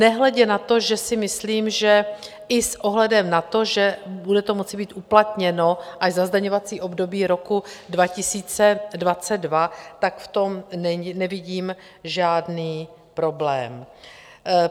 Nehledě na to, že si myslím, že i s ohledem na to, že bude to moci být uplatněno až za zdaňovací období roku 2022, tak v tom nevidím žádný problém.